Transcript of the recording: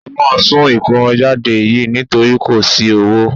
A máa sún ìkómọjáde yìí nítorí kò sí owó